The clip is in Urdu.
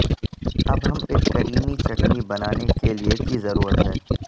اب ہم ایک کریمی چٹنی بنانے کے لئے کی ضرورت ہے